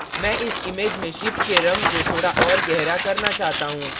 मैं इस image में ship के रंग को थोड़ा और गहरा करना चाहता हूँ